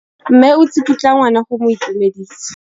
Mme o tsikitla ngwana go mo itumedisa.